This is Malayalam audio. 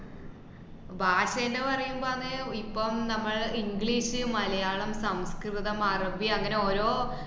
ഭാഷ എല്ലോ പറയുമ്പോ ആണ് ഇപ്പം നമ്മൾ english ഷ്, മലയാളം, സംസ്‌കൃതം, അറബി അങ്ങനെ ഓരോ